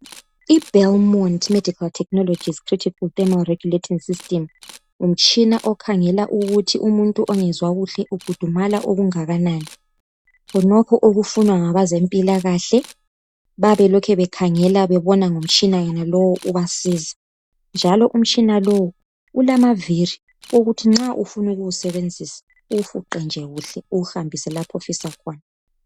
IBelmont medical technologies critical thermo regulating system ngumtshina okhangela ukuthi umuntu ongezwa kuhle ukhudumala okungakanani. Khonokho okufunwa ngabezempilakahle ,bayabe belokhu bekhangela bebona ngomtshina enalo ubasiza. Njalo umtshina lo ulamaviri ukuthi nxa ufuna ukuwusebenzisa uwufuqe nje kuhle uwuhambise lapho ofisa khona.